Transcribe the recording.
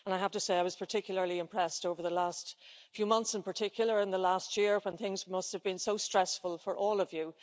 I have to say, I was particularly impressed over the last few months, in particular in the last year, when things must have been so stressful for all of you.